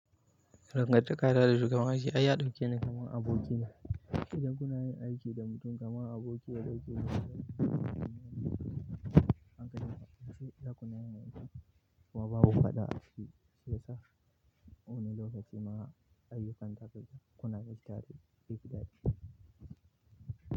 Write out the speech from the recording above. Dangantaka na da shugaban aiki ai ya ɗauke ni kamar aboki ne. Idan kuna yin aiki da mutum kamar aboki wanda kake yi ma aiki, hankalin ka kwance idan kuna yin aiki kuma babu faɗa a cikin shiyasa. Wani lokacin ma ayyukan za ka ji kuna nishaɗi zai fi daɗi.